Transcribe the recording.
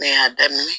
Ne y'a daminɛ